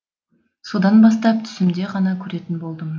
содан бастап түсімде ғана көретін болдым